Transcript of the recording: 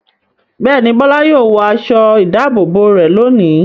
Bẹ́ẹ̀ ni, Bọ́lá yóò wọ aṣọ-ìdáàbòbò rẹ̀ lónìí.